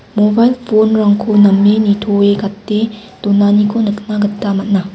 mobail phone-rangko name nitoe gate donaniko nikna gita man·a.